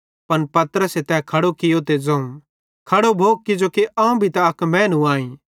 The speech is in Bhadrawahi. पन पतरसे तै खड़ो कियो ते ज़ोवं खड़ो भो किजोकि अवं भी त अक मैनू आईं